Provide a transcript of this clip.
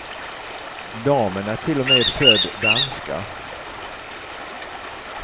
Damen är till och med född danska.